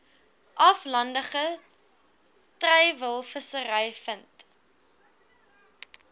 aflandige treilvissery vind